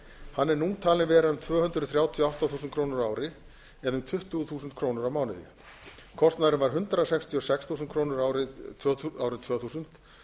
hann er nú talinn vera um tvö hundruð þrjátíu og átta þúsund krónur á ári eða um tuttugu þúsund krónur á mánuði kostnaðurinn var hundrað sextíu og sex þúsund krónur árið tvö þúsund